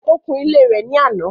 Ó kun ilé rẹ̀ ní lánàá.